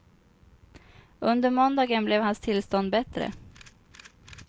Under måndagen blev hans tillstånd bättre.